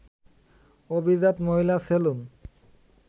অভিজাত মহিলা-সেলুন